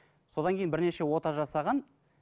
содан кейін бірнеше ота жасаған